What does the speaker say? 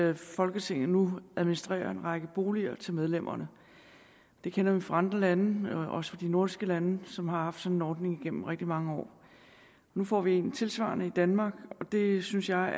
at folketinget nu administrerer en række boliger til medlemmerne det kender vi fra andre lande også fra de nordiske lande som har haft sådan en ordning igennem rigtig mange år nu får vi en tilsvarende ordning i danmark og det synes jeg